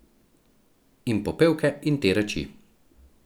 In popevke in te reči.